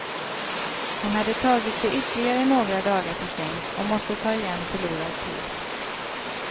Hon hade tagit sig ytterligare några dagar till sängs, och måste ta igen förlorad tid.